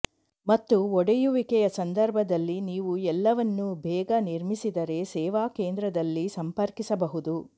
ಮತ್ತು ಒಡೆಯುವಿಕೆಯ ಸಂದರ್ಭದಲ್ಲಿ ನೀವು ಎಲ್ಲವನ್ನೂ ಬೇಗ ನಿರ್ಮಿಸಿದರೆ ಸೇವಾ ಕೇಂದ್ರದಲ್ಲಿ ಸಂಪರ್ಕಿಸಬಹುದು